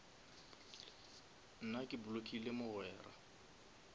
nna ke blockile mogwera